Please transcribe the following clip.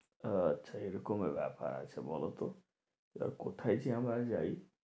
আচ্ছা এরকম ব্যাপার আছে বলো তো এবার কোথায় যে আমরা যাই?